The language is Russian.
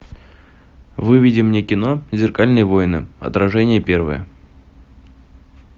выведи мне кино зеркальные войны отражение первое